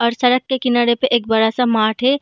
और सड़क के किनारे पे एक बड़ा सा मार्ट है |